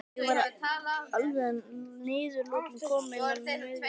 Ég var alveg að niðurlotum kominn um miðnætti.